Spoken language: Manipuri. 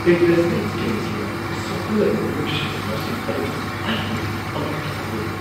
ꯏꯟꯚꯦꯁꯠꯃꯦꯟꯠ ꯁ꯭ꯀꯤꯝꯁꯤꯡꯅ ꯁꯣꯛꯍꯜꯂꯕ ꯃꯤꯑꯣꯏꯁꯤꯡꯒꯤ ꯃꯁꯤꯡ ꯑꯗꯨꯅ ꯑꯩꯕꯨ ꯑꯉꯛꯄ ꯐꯥꯎꯍꯜꯂꯤ꯫